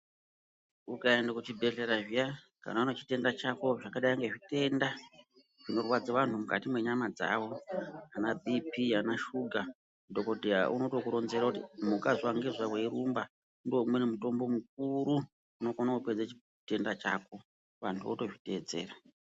Ukaende kuchibhedhlera zviya kana une chitenda chako zvakadai ngezvitenda zvinorwadza vanhu mukati mwenyama dzawo anabhiiphi, anashuga. Dhokodheya unotokuronzera kuti muka zuwa ngezuwa weirumba. Ndiwo umweni mutombo mukuru unokone kupedze chitenda chako. Vanthu votozviteedzera.